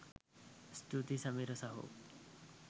ස්තුතියි සමීර සහෝ